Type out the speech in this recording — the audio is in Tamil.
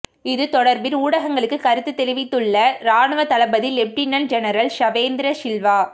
இது தொடர்பிர் ஊடகங்களுக்கு கருத்து தெரிவித்துள்ள இராணுவத் தளபதி லெப்டினன் ஜெனரல் ஷவேந்திர சில்வா